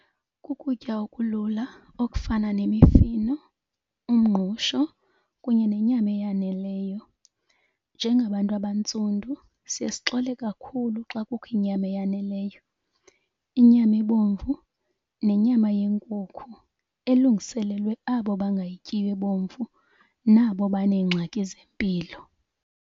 Kukutya okulula okufana nemifino, umngqusho, kunye nenyama eyaneleyo. Njengabantu abantsundu siye sixole kakhulu xa kukho inyama eyaneleyo, inyama ebomvu nenyama yenkukhu elungiselelwe abo bangayityiyo ebomvu nabo baneengxaki zempilo.